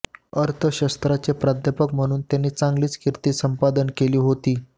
अर्थशास्त्राचे प्राध्यापक म्हणून त्यांनी चांगलीच कीर्ती संपादन केली होती